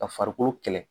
Ka farikolo kɛlɛ